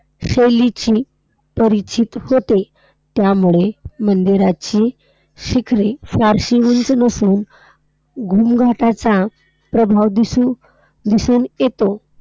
शैलीशी परिचित होते. त्यामुळे मंदिराची शिखरे फारशी उंच नसून घुमघाटाचा प्रभाव दिसू~ दिसून येतो.